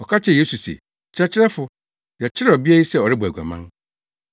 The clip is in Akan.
Wɔka kyerɛɛ Yesu se, “Kyerɛkyerɛfo, yɛkyeree ɔbea yi sɛ ɔrebɔ aguaman,